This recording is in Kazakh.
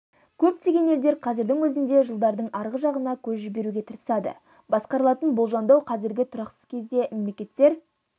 көптеген елдер қазірдің өзінде жылдардың арғы жағына көз жіберуге тырысады басқарылатын болжамдау қазіргі тұрақсыз кезде мемлекеттер